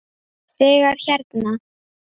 Þegar hérna.